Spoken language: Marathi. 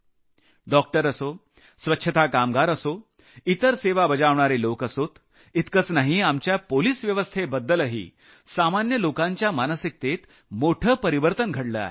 डॉक्टर असो स्वच्छता कामगार असो इतर सेवा बजावणारे लोक असोत इतकंच नाही आपल्या पोलिस व्यवस्थेबद्दलही सामान्य लोकांच्या मानसिकतेत मोठं परिवर्तन घडलं आहे